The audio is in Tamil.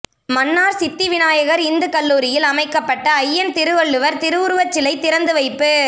மன்னார் சித்திவிநாயகர் இந்துக்கல்லூரியில் அமைக்கப்பட்ட அய்யன் திரு வள்ளுவர் திரு உருவச்சிலை திறந்து வைப்பு